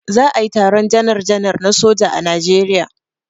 Za a yi taron janar janar na soja a Najeriya.